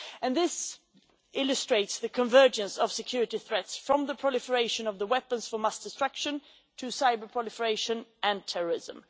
This illustrates the convergence of security threats from the proliferation of weapons of mass destruction to cyber-proliferation and terrorism.